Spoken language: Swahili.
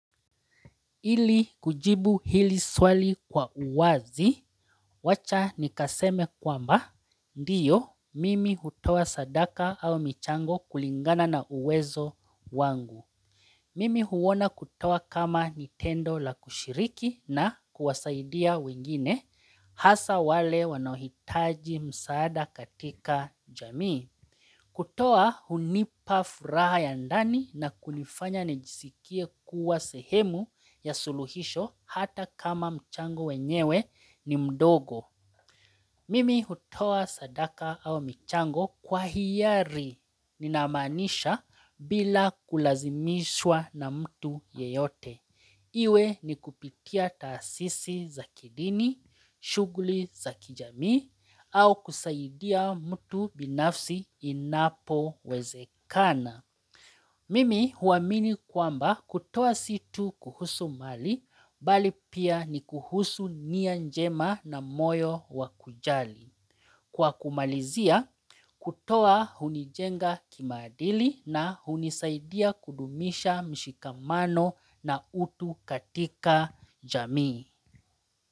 Ili kujibu hili swali kwa uwazi, wacha nikaseme kwamba, ndiyo, mimi hutoa sadaka au michango kulingana na uwezo wangu. Mimi huona kutoa kama nitendo la kushiriki na kuwasaidia wengine, hasa wale wanao hitaji msaada katika jamii. Kutoa hunipa furaha ya ndani na kunifanya nijisikie kuwa sehemu ya suluhisho hata kama mchango wenyewe ni mdogo. Mimi hutoa sadaka au michango kwa hiyari nina maanisha bila kulazimishwa na mtu yeyote. Iwe ni kupitia taasisi za kidini, shughuli za kijamii, au kusaidia mtu binafsi inapowezekana. Mimi huamini kwamba kutoa si tuu kuhusu mali, bali pia ni kuhusu nia njema na moyo wakujali. Kwa kumalizia, kutoa hunijenga kimaadili na hunisaidia kudumisha mshikamano na utu katika jamii.